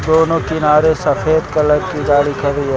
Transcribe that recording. दोनों किनारे सफेद कलर की गाड़ी खड़ी है।